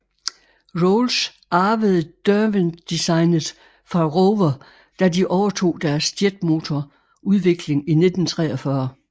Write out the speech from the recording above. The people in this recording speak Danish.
Rolls arvede Derwent designet fra Rover da de overtog deres jetmotor udvikling i 1943